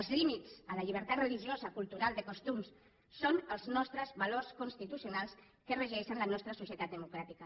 els límits a la llibertat religiosa cultural de costums són els nostres valors constitucionals que regeixen la nostra societat democràtica